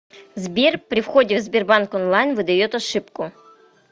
сбер при входе в сбербанк онлайн выдает ошибку